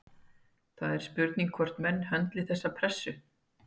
Það er spurning hvort menn höndli þessa pressu?